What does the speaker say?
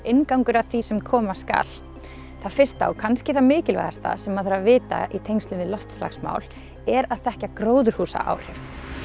inngangur að því sem koma skal það fyrsta og kannski það mikilvægasta sem maður þarf að vita í tengslum við loftslagsmál er að þekkja gróðurhúsaáhrif